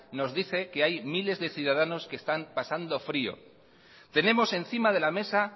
nos dice que hay miles de ciudadanos que están pasando frío tenemos encima de la mesa